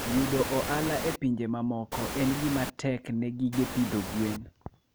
Yudo ohala e pinje mamoko en gima tek ne gige pidho gwen.